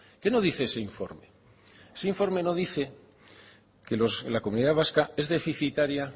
qué no dice ese informe ese informe no dice que la comunidad vasca es deficitaria